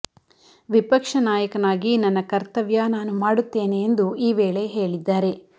ವಿಪಕ್ಷ ನಾಯಕನಾಗಿ ನನ್ನ ಕರ್ತವ್ಯ ನಾನು ಮಾಡುತ್ತೇನೆ ಎಂದು ಈವೇಳೆ ಹೇಳಿದ್ದಾರೆ